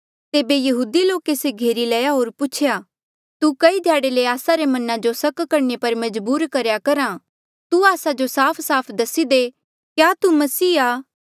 तेबे यहूदी लोके से घेरी लया होर पूछेया तु कई ध्याड़े ले आस्सा रा मना जो सक करणे पर मजबूर करेया करहा तू आस्सा जो साफसाफ दसी दे क्या तू मसीह आ